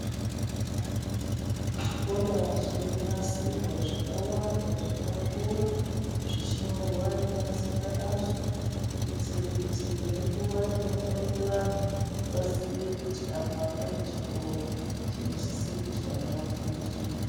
Zvikora zviri kunasirwa, zvakawanda zvakakura, zvichinyorwa ne mazita azvo, kuitira kuti ngenguwa inofamba vanhu, vaziye kuti apa pane chikora chinosise kuti vana vafundire.